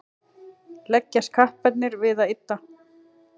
leggjast kapparnir við að ydda